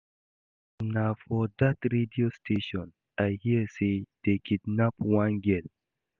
Na for dat radio station I hear say dey kidnap one girl